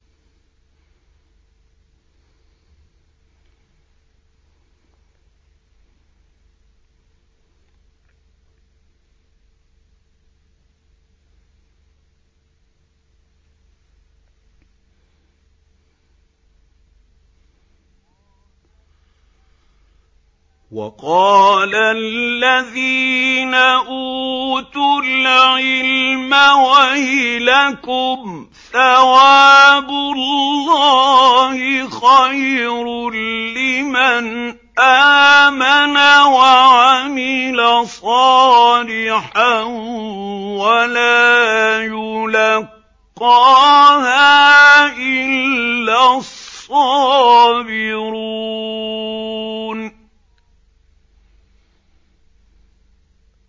وَقَالَ الَّذِينَ أُوتُوا الْعِلْمَ وَيْلَكُمْ ثَوَابُ اللَّهِ خَيْرٌ لِّمَنْ آمَنَ وَعَمِلَ صَالِحًا وَلَا يُلَقَّاهَا إِلَّا الصَّابِرُونَ